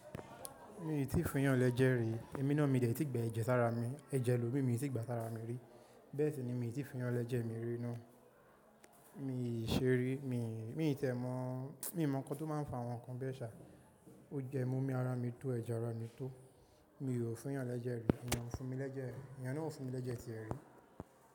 Mi ò tíì fun yàn lẹ́jẹ̀ rí, èmi náà mi ò de tí ì gbà ẹ̀jẹ̀ sára mi, ẹ̀jẹ̀ elómi mi ò tí gba sára mi rí. Bẹ́ẹ̀ sì ni mi ò tíì fun yàn lẹ́jẹ̀ mi rí ná. Mi i ṣe rí, mi tẹ̀ mọ̀, mi mọ̀ ǹkan tó máa ń fa àwọn nǹkan bẹ́ẹ̀ ṣà. O jẹ mọ́ omi ara mi tó ẹ̀jẹ̀ ara mi tó. Mi ò fun yàn lẹ́jẹ̀ rí, èèyàn ò fún mi lẹ́jẹ̀, èèyàn náà ò fún mi lẹ́jẹ̀ tiẹ̀ rí.